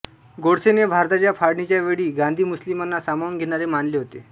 गोडसेने भारताच्या फाळणीच्या वेळी गांधी मुस्लिमांना सामावून घेणारे मानले होते